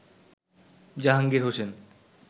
Jahangir Hossain